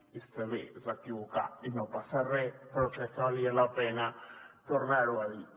i està bé es va equivocar i no passa re però crec que valia la pena tornar ho a dir